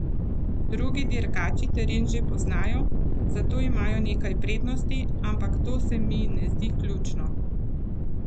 Drugi dirkači teren že poznajo, zato imajo nekaj prednosti, ampak to se mi ne zdi ključno.